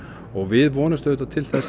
og við vonumst auðvitað til